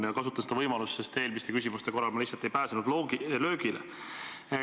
Ma kasutan seda võimalust, sest eelmiste küsimuste korral ma lihtsalt ei pääsenud löögile.